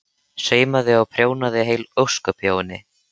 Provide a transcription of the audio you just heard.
Saumaði og prjónaði heil ósköp hjá henni.